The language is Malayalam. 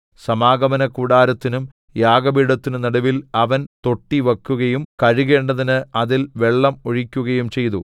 സമാഗമനകൂടാരത്തിനും യാഗപീഠത്തിനും നടുവിൽ അവൻ തൊട്ടിവക്കുകയും കഴുകേണ്ടതിന് അതിൽ വെള്ളം ഒഴിക്കുകയും ചെയ്തു